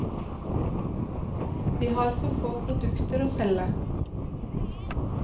Vi har for få produkter å selge.